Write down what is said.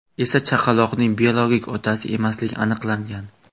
esa chaqaloqning biologik otasi emasligi aniqlangan.